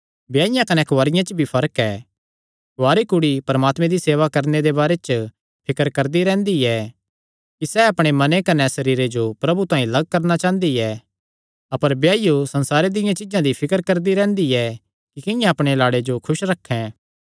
ब्याईया कने कुआरिया च भी फर्क ऐ कुआरी कुड़ी परमात्मे दी सेवा करणे दे बारे च फिकर करदी रैंह्दी ऐ कि सैह़ अपणे मने कने सरीरे जो प्रभु तांई लग्ग करणा चांह़दी ऐ अपर ब्याईयो संसारे दियां चीज्जां दी फिकर करदी रैंह्दी ऐ कि किंआं अपणे लाड़े जो खुस रखैं